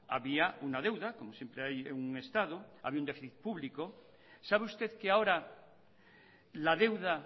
había una deuda como siempre hay en un estado había un déficit público sabe usted que ahora la deuda